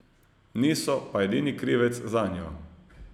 Niso pa edini krivec zanjo.